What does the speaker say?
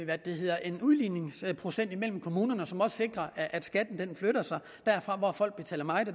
at vi har en udligningsprocent mellem kommunerne som også sikrer at skatten flytter sig derfra hvor folk betaler meget